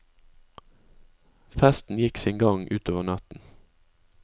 Festen gikk sin gang utover natten.